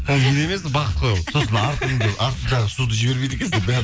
ол мен емес бақыт қой ол сосын артындағы суды жібермейді екенсің деп бәрін